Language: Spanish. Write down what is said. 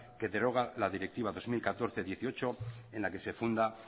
que deroga la directiva dos mil catorce barra dieciocho en la que se funda